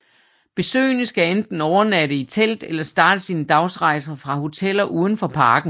Besøgende skal enten overnatte i telt eller starte sine dagsrejser fra hoteller udenfor parken